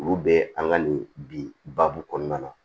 Olu bɛ an ka nin bi baabu kɔnɔna na